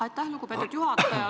Aitäh, lugupeetud juhataja!